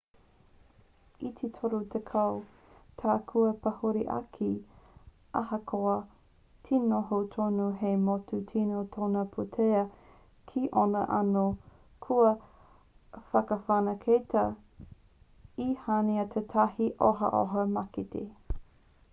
i te toru tekau tau kua pahure ake ahakoa te noho tonu hei motu tino toha pūtea ki ōna anō kua whakawhanaketia e hāina tētahi ohaoha mākete